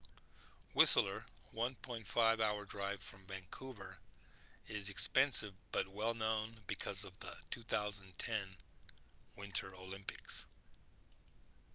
whistler 1.5 hour drive from vancouver is expensive but well-known because of the 2010 winter olympics